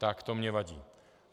Tak to mně vadí.